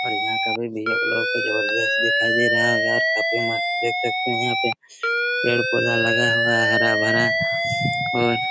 और यहाँ का व्यू भी आप लोगों को जबरदस्त दिखाई दे रहा होगा और काफी मस्त देख सकते है यहाँ पे पेड़-पौधा लगा हुआ हरा-भरा और--